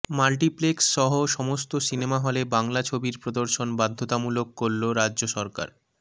multiplex সহ সমস্ত cinema হলে বাংলা ছবির প্রদর্শন বাধ্যতামূলক করল রাজ্য সরকার